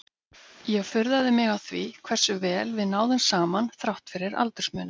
Ég furðaði mig á því hversu vel við náðum saman þrátt fyrir aldursmuninn.